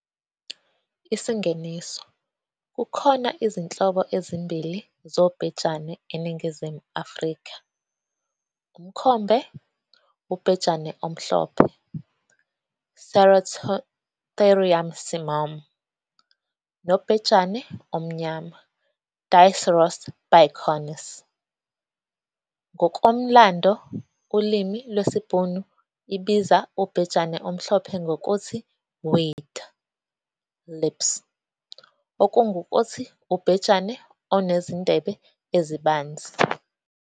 Isingeniso- Kukhona izinhlobo ezimbili zobhejane eNingizimu Afrika, umkhombe, ubhejane omhlope, "Ceratotherium simum" nobhejane omnyama, "Diceros bicornis". Ngokumlando, ulimi lwesiBhunu ibiza ubhejane omhlope ngokuthi "weid, lips" okungukuthi ubhejane onezindebe ezibanzi.